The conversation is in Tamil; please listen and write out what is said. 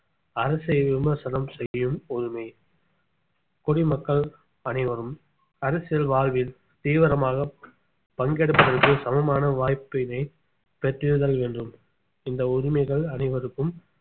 அரசை விமர்சனம் செய்யும் உரிமை குடிமக்கள் அனைவரும் அரசியல் வாழ்வில் தீவிரமாக பங்கெடுப்பதற்கு சமமான வாய்ப்பினை பெற்றிடுதல் வேண்டும் இந்த உரிமைகள் அனைவருக்கும்